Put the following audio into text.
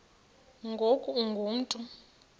ngoku ungu mntu